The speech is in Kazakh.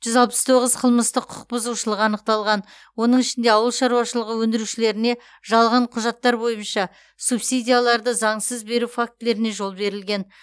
жүз алпыс тоғыз қылмыстық құқық бұзушылық анықталған оның ішінде ауыл шаруашылығы өндірушілеріне жалған құжаттар бойынша субсидияларды заңсыз беру фактілеріне жол берілген